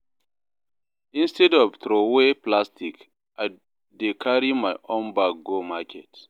Instead of throwaway plastic, I dey carry my own bag go market